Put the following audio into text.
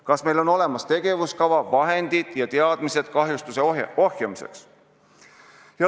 Kas meil on olemas tegevuskava, vahendid ja teadmised kahjustuse ohjeldamiseks?